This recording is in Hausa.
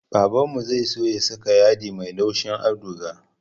Babanmu zai so ya saka yadi mai laushin auduga